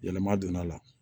Yɛlɛma donna a la